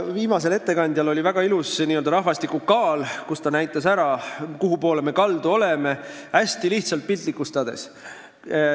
Viimasel ettekandjal oli slaidil väga ilus n-ö rahvastiku kaal ja ta näitas hästi lihtsalt piltlikustades ära, kuhupoole me kaldu oleme.